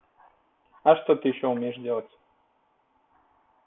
а что ты ещё умеешь делать